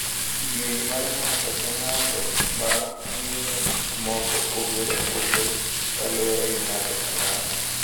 Kidieny mar ng’ato ka ng’ato ma ng’iyo gik moko opogore opogore kaluwore gi ng’ato ka ng’ato.